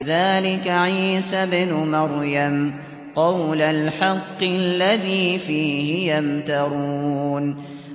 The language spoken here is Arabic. ذَٰلِكَ عِيسَى ابْنُ مَرْيَمَ ۚ قَوْلَ الْحَقِّ الَّذِي فِيهِ يَمْتَرُونَ